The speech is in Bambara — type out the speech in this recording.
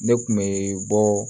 Ne kun be bɔɔ